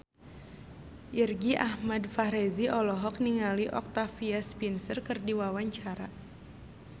Irgi Ahmad Fahrezi olohok ningali Octavia Spencer keur diwawancara